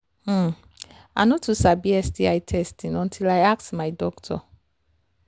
hmmm i i no too sabi sti testing until i ask my doctor